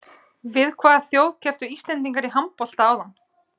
Við hvaða þjóð kepptu Íslendingar í handbolta áðan?